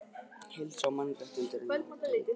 Heilsa og mannréttindi eru nátengd.